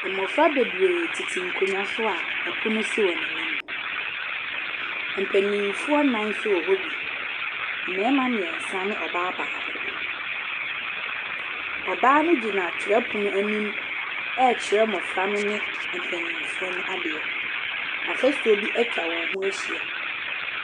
Mmɔfra bebree titi nkonnwa so a ɛpon sisi wɔn ɛnim. Ɛmpenifuɔ nan so wɔ hɔ bi. Mmɛɛma miensa ne ɔbaa baako. Ɔbaa no gyina twerɛ pon ɛnim ɛɛkyirɛ mɔfra no ne mpenyinfuɔ ade. Afasuo bi etwa wɔn ho ehyia.